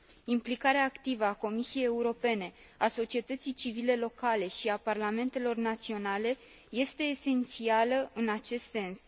Implicarea activă a Comisiei Europene, a societății civile locale și a parlamentelor naționale este esențială în acest sens.